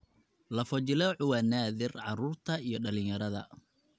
Lafo-jileecu waa naadir carruurta iyo dhalinyarada.